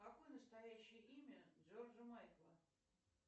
какое настоящее имя джорджа майкла